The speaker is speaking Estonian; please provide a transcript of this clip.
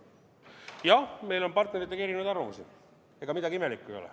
Jah, meil on partneritega erinevad arvamused, ega midagi imelikku ei ole.